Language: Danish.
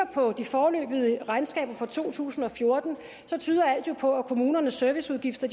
på de foreløbige regnskaber for to tusind og fjorten tyder alt jo på at kommunernes serviceudgifter